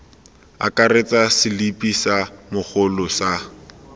akaretsa selipi sa mogolo sa